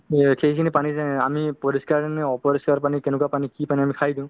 সেইখিনি পানী আমি পৰিষ্কাৰেনে অপৰিষ্কাৰ পানী কেনেকুৱা পানী কি পানী আমি খাই দিও